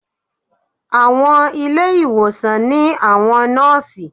Àwọn ilé ìwòsàn ní àwọn Nóòsì